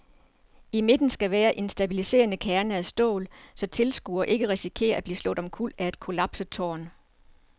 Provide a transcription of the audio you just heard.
I midten skal være en stabiliserende kerne af stål, så tilskuere ikke risikerer at blive slået omkuld af et kollapset tårn.